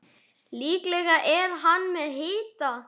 Líklega er hann með hita.